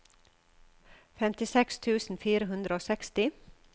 femtiseks tusen fire hundre og seksti